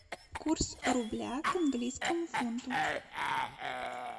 курс рубля к английскому фунту